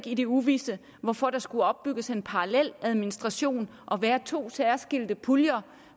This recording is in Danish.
i det uvisse hvorfor der skulle opbygges en parallel administration og være to særskilte puljer